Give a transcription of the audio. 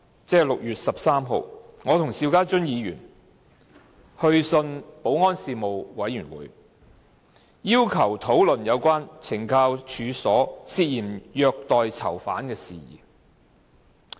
在6月13日，我和邵家臻議員去信保安事務委員會，要求討論有關懲教所涉嫌虐待囚犯的事宜。